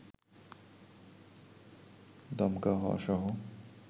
দমকা হাওয়াসহ